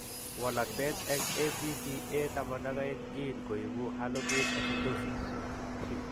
Walakset eng' ABCA12 gene koibu harlequin ichthyosis.